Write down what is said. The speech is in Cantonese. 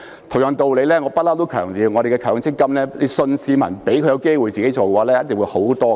同樣道理，我一向強調，我們在強積金方面只要相信市民，給他們一個機會自己處理，一定會好得多。